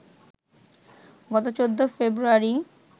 গত ১৪ ফেব্রুয়ারি